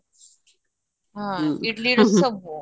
ଇଟିଲିର ସବୁ